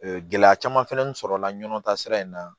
gɛlɛya caman fɛnɛ sɔrɔla ɲɔn ta sira in na